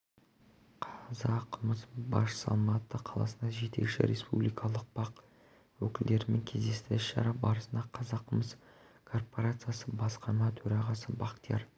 қазақмыс басшысы алматы қаласында жетекші республикалық бақ өкілдерімен кездесті іс-шара барысында қазақмыс корпорациясы басқарма төрағасы бақтияр